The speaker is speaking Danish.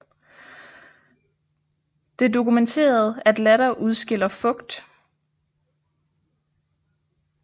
Det er dokumenteret at latter udskiller fugt